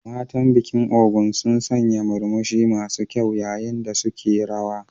Matan bikin Ogun sun sanya murmushi masu kyau yayin da suke rawa.